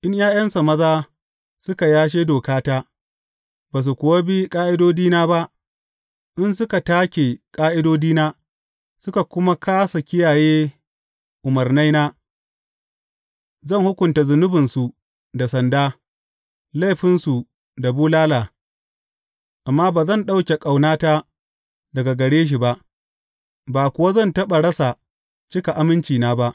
In ’ya’yansa maza suka yashe dokata ba su kuwa bi ƙa’idodina ba, in suka take ƙa’idodina suka kuma kāsa kiyaye umarnaina, zan hukunta zunubinsu da sanda, laifinsu da bulala; amma ba zan ɗauke ƙaunata daga gare shi ba, ba kuwa zan taɓa rasa cika amincina ba.